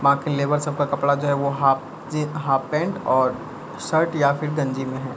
बाकि लेबर सबका कपड़ा जो है वो हाफ जीन्स हाफ पैंट और शर्ट या फिर गंजी में है।